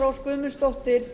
rós guðmundsdóttir